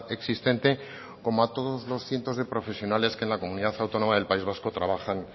existente como a todos los cientos de profesiones que en la comunidad autónoma del país vasco trabajan